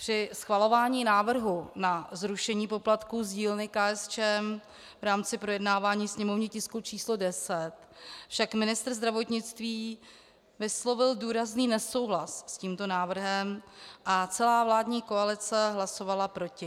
Při schvalování návrhu na zrušení poplatků z dílny KSČM v rámci projednávání sněmovního tisku číslo 10 však ministr zdravotnictví vyslovil důrazný nesouhlas s tímto návrhem a celá vládní koalice hlasovala proti.